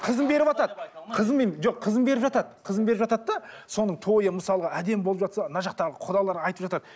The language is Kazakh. қызын беріватады қызын жоқ қызын беріп жатады қызын беріп жатады да соның тойы мысалға әдемі болып жатса мына жақта құдалар айтып жатады